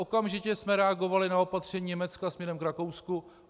Okamžitě jsme reagovali na opatření Německa směrem k Rakousku.